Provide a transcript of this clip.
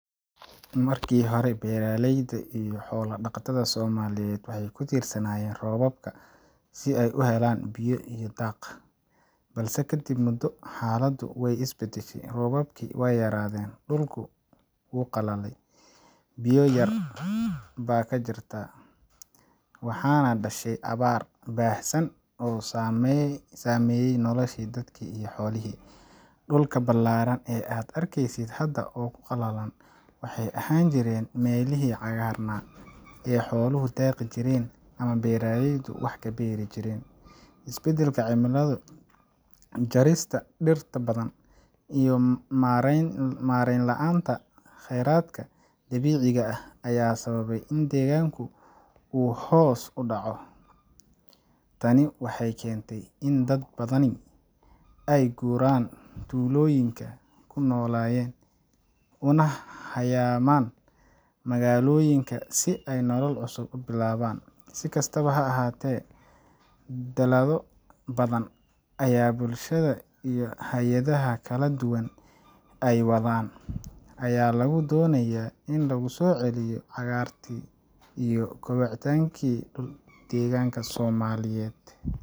Markii hore, beeralayda iyo xoolo Soomaaliyeed waxay ku tiirsanaayeen roobabka si ay u helaan biyo iyo daaq. Balse kadib muddo, xaaladdu way isbedeshay. Roobabkii waa yaraadeen, dhulkii wuu qalalay, biyo yari baa ka jirta, waxaana dhashay abaar baahsan oo saameyay noloshii dadkii iyo xoolihii. Dhulka balaaran ee aad arkaysid hadda oo qalalan, waxay ahaan jireen meelihii cagaarnaa ee xooluhu daaqi jireen ama beeraleydu wax ka beeri jireen. Isbedelka cimilada, jarista dhirta badan, iyo maarayn la’aanta kheyraadka dabiiciga ah ayaa sababay in deegaanka uu hoos u dhaco. Tani waxay keentay in dad badani ay ka guuraan tuulooyinkii ay ku noolaayeen una hayaamaan magaalooyinka si ay nolol cusub u bilaabaan. Si kastaba ha ahaatee, dadaallo badan oo bulshada iyo hay’adaha kala duwan ay wadaan ayaa lagu doonayaa in lagu soo celiyo cagaarantii iyo kobaca deegaanka Soomaaliyeed.